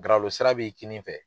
Galo sira b'i kinin fɛ.